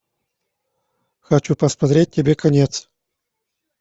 хочу посмотреть тебе конец